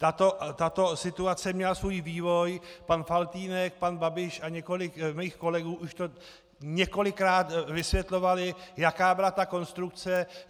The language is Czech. Tato situace měla svůj vývoj, pan Faltýnek, pan Babiš a několik mých kolegů už to několikrát vysvětlovali, jaká byla ta konstrukce.